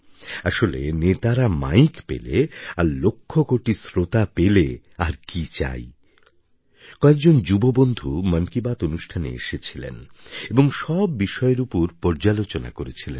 আসলে নেতারা মাইক পেলে আর লক্ষকোটি শ্রোতা পেলে আর কী চাই কয়েকজন যুববন্ধু মন কি বাত অনুষ্ঠানে এসেছিলেন এবং সব বিষয়ের উপর পর্যালোচনা করেছিলেন